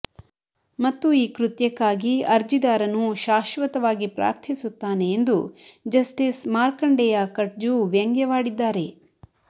ಮತ್ತು ಈ ಕೃತ್ಯಕ್ಕಾಗಿ ಅರ್ಜಿದಾರನು ಶಾಶ್ವತವಾಗಿ ಪ್ರಾರ್ಥಿಸುತ್ತಾನೆ ಎಂದು ಜಸ್ಟಿಸ್ ಮಾರ್ಕಂಡೇಯ ಕಟ್ಜು ವ್ಯಂಗವಾಡಿದ್ದಾರೆ